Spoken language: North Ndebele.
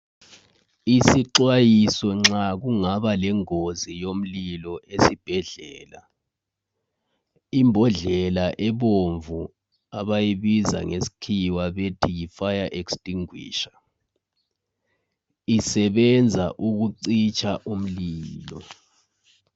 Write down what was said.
Isixwayiso nxa kungaba lengozi yomlilo esibhedlela. Imbodlela ebomvu abayibiza ngesikhiwa bethi yi fire extinguisher isebenza ukucitsha umlilo.